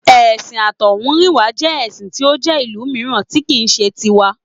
Ẹ̀sìn àtọ̀húnrìnwá jẹ́ ẹṣin tí ó jẹ́ ìlú mìíràn tí kì í ṣe ti wa